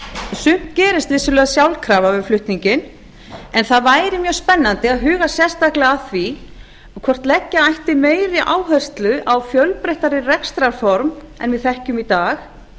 sumt gerist vissulega sjálfkrafa við flutninginn en það væri mjög spennandi að huga sérstaklega að því hvort leggja ætti meiri áherslu á fjölbreyttari rekstrarform en við þekkjum í dag